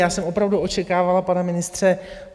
Já jsem opravdu očekávala, pane ministře...